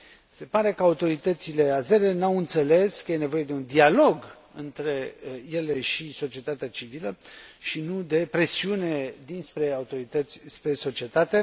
Se pare că autoritățile azere nu au înțeles că e nevoie de un dialog între ele și societatea civilă, și nu de presiune dinspre autorități spre societate.